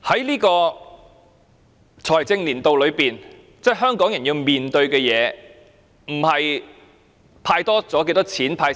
在本財政年度內，香港人要面對的不是"派錢"多了或少了。